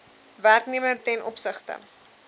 werknemer ten opsigte